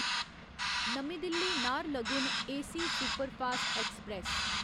नमीं Delhi Naharlagun AC superfast express